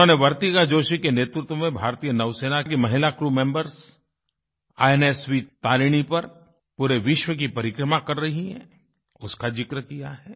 उन्होंने वर्तिका जोशी के नेतृत्व में भारतीय नौसेना के महिला crew members I N S V Tarini INSV Tarini पर पूरे विश्व की परिक्रमा कर रही हैं उसका ज़िक्र किया है